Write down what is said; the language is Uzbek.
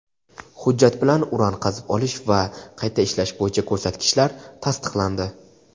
Hujjat bilan uran qazib olish va qayta ishlash bo‘yicha ko‘rsatkichlar tasdiqlandi.